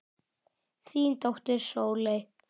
Þín dóttir Sóley.